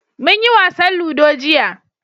mun yi wasan ludo jiya